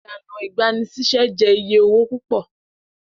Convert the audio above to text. Ilana igbanisise jẹ iye owo pupọ.